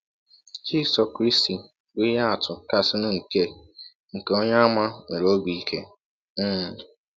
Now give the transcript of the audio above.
Jisọ krịstị bụ ihe atụ kasịnụ nke nke onye àmà nwere obi ike um